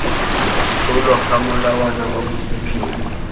tlolwa ga molawana wa bosephiri